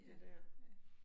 Ja, ja